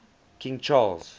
king charles